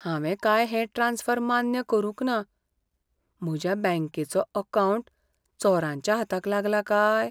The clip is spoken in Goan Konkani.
हांवें काय हें ट्रांस्फर मान्य करूंक ना, म्हज्या बँकेचो अकावंट चोरांच्या हाताक लागला काय?